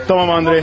Tamam Andrey.